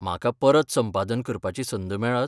म्हाका परत संपादन करपाची संद मेळत?